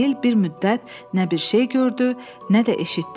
Emil bir müddət nə bir şey gördü, nə də eşitdi.